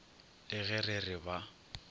le ge re re ba